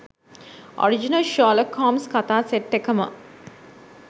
“original Sherlock Holmes කතා set එකම”